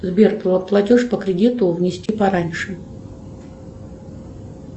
сбер платеж по кредиту внести пораньше